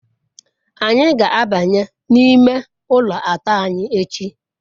anyi ga-abanye n'ime ulo ato anyi echi